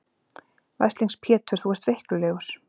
Veslings Pétur þú ert veiklulegur.